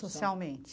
Socialmente?